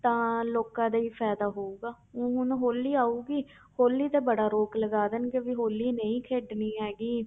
ਤਾਂ ਲੋਕਾਂ ਲਈ ਫ਼ਾਇਦਾ ਹੋਊਗਾ, ਊਂ ਹੁਣ ਹੋਲੀ ਆਊਗੀ ਹੋਲੀ ਤੇ ਬੜਾ ਰੋਕ ਲਗਾ ਦੇਣਗੇ ਵੀ ਹੋਲੀ ਨਹੀਂ ਖੇਡਣੀ ਹੈਗੀ